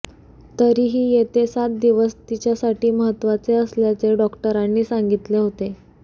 तरीही येते सात दिवस तिच्यासाठी महत्त्वाचे असल्याचे डॉक्टरांनी सांगितले होते